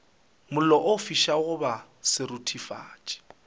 mollo o fišago goba seruthufatši